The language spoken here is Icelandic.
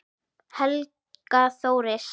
Helga Þóris.